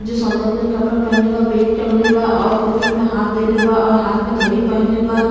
जो कपड़ा पहीनले बा बेग टंगले बा और पॉकेट में हाथ देले बा और हाथ में घडी पहीनले बा।